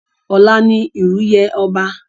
Ọ̀la ni ìrú yè ọba.